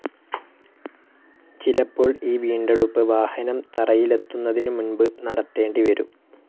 ചിലപ്പോൾ ഈ വീണ്ടെടുപ്പ് വാഹനം തറയിലെത്തുന്നതിനു മുൻപു നടത്തേണ്ടിവരും.